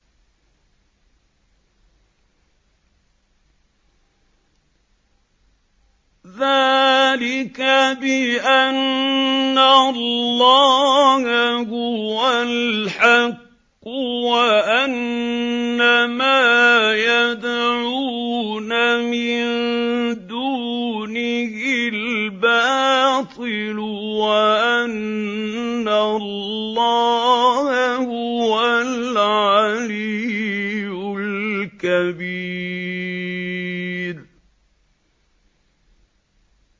ذَٰلِكَ بِأَنَّ اللَّهَ هُوَ الْحَقُّ وَأَنَّ مَا يَدْعُونَ مِن دُونِهِ الْبَاطِلُ وَأَنَّ اللَّهَ هُوَ الْعَلِيُّ الْكَبِيرُ